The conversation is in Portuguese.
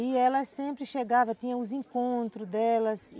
E ela sempre chegava, tinha os encontros delas.